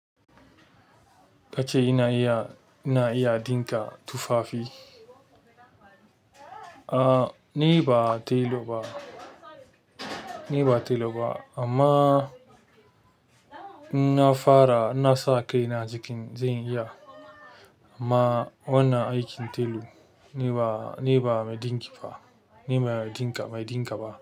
Ka ce ina iya, ina iya ɗinka tufafi? A, ni ba telo ba. Ni ba telo ba, amma in na fara, in na sa kai na jikin, zan iya. Amma wannan aikin telo ni ba, ni ba mai ɗinki ba. Ni mai ɗinka, mai ɗinka ba.